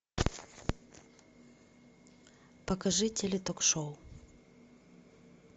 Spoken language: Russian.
покажи теле ток шоу